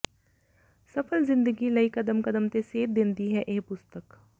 ਸਫਲ ਜ਼ਿੰਦਗੀ ਲਈ ਕਦਮ ਕਦਮ ਤੇ ਸੇਧ ਦੇਂਦੀ ਹੈ ਇਹ ਪੁਸਤਕ